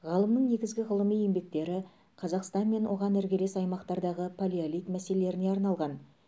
ғалымның негізгі ғылыми еңбектері қазақстан мен оған іргелес аймақтардағы палеолит мәселелеріне арналған